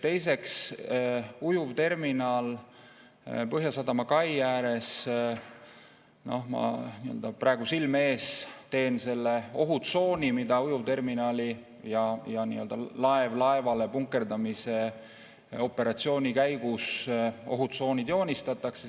Teiseks, ujuvterminal Põhjasadama kai ääres – ma silme ette selle ohutsooni, mida ujuvterminali puhul ja nii-öelda laevalt laevale punkerdamise operatsiooni korral joonistatakse.